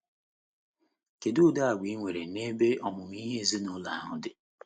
Kedu udi Àgwà ị nwere n’ebe ọmụmụ ihe ezinụlọ ahụ dị?